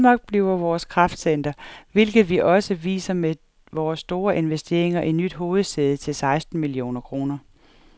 Danmark bliver vores kraftcenter, hvilket vi også viser med vores store investeringer i nyt hovedsæde til seksten millioner kroner.